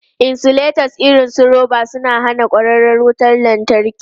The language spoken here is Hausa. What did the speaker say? Insulators irin su roba suna hana kwararar wutar lantarki.